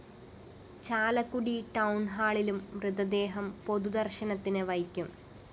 ചാലക്കുടി ടൗണ്‍ഹാളിലും മൃതദേഹം പൊതുദര്‍ശനത്തിന് വയ്ക്കും